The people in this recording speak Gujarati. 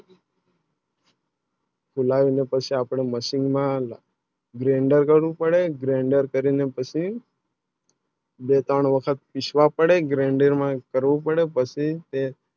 Live ને પછી આપણા પડે Machine માં Grinder કરું પડે Grinder કરી ને પછી